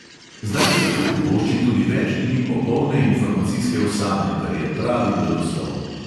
Zdaj si lahko privoščim tudi več dni popolne informacijske osame, kar je pravi blagoslov.